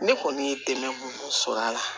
Ne kɔni ye dɛmɛ sɔrɔ a la